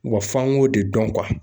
Wa f'an k'o de dɔn